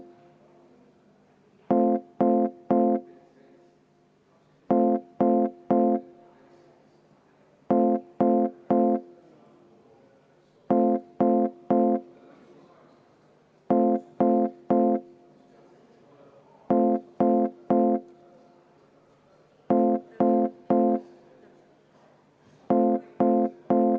Teeme väikese vaheaja, anname esinejale võimaluse hetkeks hinge tõmmata.